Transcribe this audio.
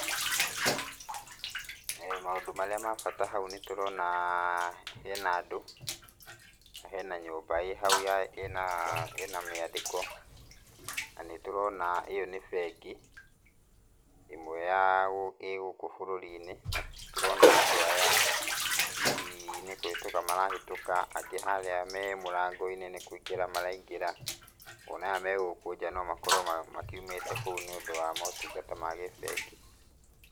Maũndũ marĩa ma bata haũ nĩ tũrona he na andũ na he na nyũmba ĩ haũ ĩ na mĩandĩko, na nĩtũrona ĩ yo nĩ bengi ĩmwe ĩ gũkũ bũrũrĩ-inĩ na nĩtũrona andũ aya hĩhĩ nĩ kũhĩtũka marahĩtũka na angĩ harĩa me mũrango-inĩ nĩ kũingĩra maraingĩra, o na aya megũkũ nja no makorwo makiumĩte kũu nĩ ũndũ wa motungata ma gĩbengi.